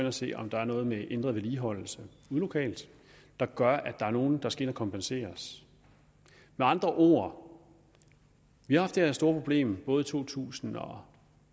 og se om der er noget med ændret vedligeholdelse ude lokalt der gør at der er nogle der skal kompenseres med andre ord vi har haft det her store problem i både to tusind og